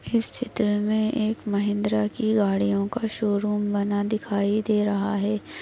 इस चित्र में एक महिंद्रा की गाड़ियोंका शोरूम बना दिखाई दे रहा है।